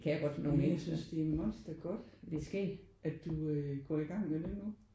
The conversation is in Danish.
Men jeg synes det er monstergodt at du øh går i gang med det nu